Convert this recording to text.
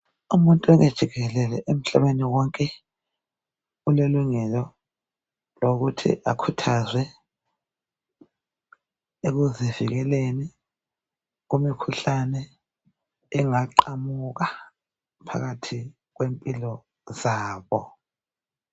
Umuntu wonke jikelele emhlabeni wonke ulelungelo lokuthi akhuthazwe ekuzivikeleni kumikhuhlane, engaqamuka, phakathi kwempilo zabo.